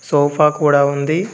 Sofa కూడా ఉంది.